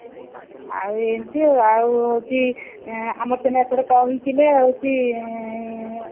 ଆଉ ଆଁ ଏମିତି ଆଉ ହଉଛି ଆମର ସିନା ଏପଟେ କହିଥିଲେ ଆଉ ହଉଛି